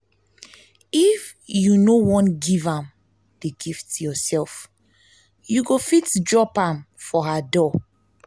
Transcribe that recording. if you no wan give am the gift yourself you go fit drop am for her door